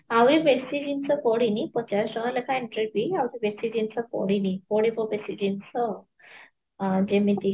ଆହୁରି ବେଶୀ ଜିନ୍ସ ପଡିନି, ପଚାଶ ଟଙ୍କା ଲେଖା entry fee ବେଶୀ ଜିନିଷ ପଡିନି ପଡିବ ବେଶୀ ଜିନିଷ ଅ ଯେମିତି